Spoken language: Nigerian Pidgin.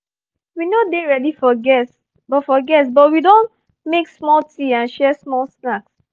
we no dey ready for guests but for guests but we don make small tea and share small snacks